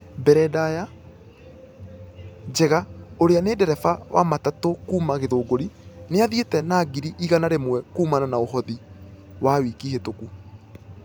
Mbere ndaya njega ũrĩa nĩ ndereba wa matatu kuuma githunguri nĩathiete na ngiri igana rĩmwe kuumana na ũothi wa wiki hĩtũku.